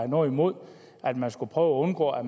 noget imod at man skulle prøve at undgå at